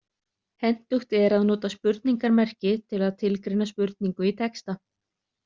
Hentugt er að nota spurningarmerki til að tilgreina spurningu í texta.